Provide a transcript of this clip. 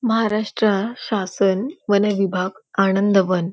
महाराष्ट्र शासन वन विभाग आनंद वन--